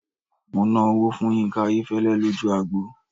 Mo ná owó fún Yínká Ayéfẹ́lẹ́ lójú agbo.